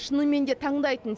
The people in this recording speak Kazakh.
шынымен де таңдайтын